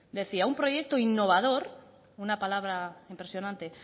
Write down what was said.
decía un proyecto innovador una palabra impresionante